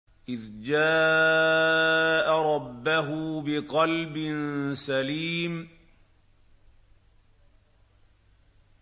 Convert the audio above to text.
إِذْ جَاءَ رَبَّهُ بِقَلْبٍ سَلِيمٍ